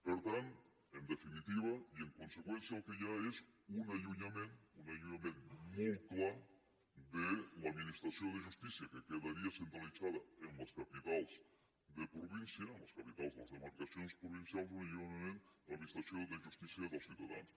per tant en definitiva i en conseqüència el que hi ha és un allunyament un allunyament molt clar de l’administració de justícia que quedaria centralitzada en les capitals de província en les capitals de les demarcacions provincials i un allunyament de l’administració de justícia dels ciutadans